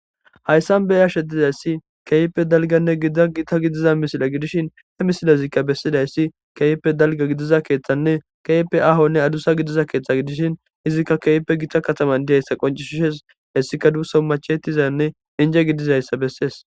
Hayssan beya shetizayssi keipe dalganne gidagita gidiza misila gidishin he misilazikka bessidayssi keyipe dalga gidiza keeththanne kepe ahonne adusa gidiza keeththa gidishin izikka keepe gita kataman diheyssa qoncishshes hessika duuso machetizanne inje gidizayssa bessees.